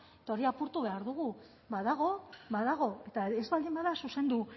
eta hori apurtu behar dugu badago badago eta ez baldin bada zuzendu